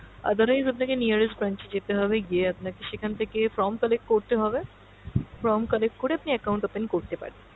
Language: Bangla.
otherwise আপনাকে nearest branch এ যেতে হবে গিয়ে আপনাকে সেখান থেকে form collect করতে হবে, form collect করে আপনি account open করতে পারবেন।